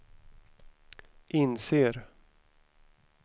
inser